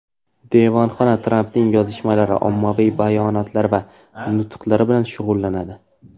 Devonxona Trampning yozishmalari, ommaviy bayonotlari va nutqlari bilan shug‘ullanadi.